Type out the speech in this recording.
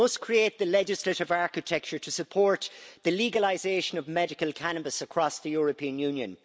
We must create the legislative architecture to support the legalisation of medical cannabis across the European Union.